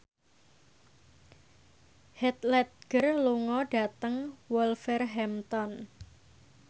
Heath Ledger lunga dhateng Wolverhampton